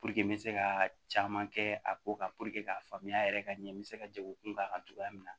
n bɛ se ka caman kɛ a ko kan k'a faamuya yɛrɛ ka ɲɛ n bɛ se ka jago kun kan cogoya min na